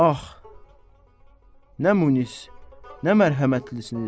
Ax, nə munis, nə mərhəmətlisiniz.